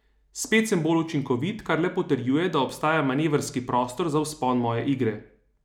Spet sem bolj učinkovit, kar le potrjuje, da obstaja manevrski prostor za vzpon moje igre.